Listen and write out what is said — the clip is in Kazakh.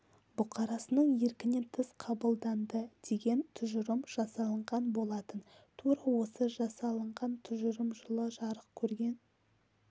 бұқарасының еркінен тыс қабылданды деген тұжырым жасалынған болатын тура осы жасалынған тұжырым жылы жарық көрген